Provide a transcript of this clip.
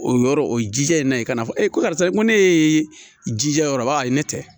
O yɔrɔ o ji jɛlen ka na fɔ e ko karisa ko ne ye jija yɔrɔ ba ayi ne tɛ